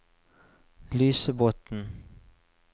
Lysebotn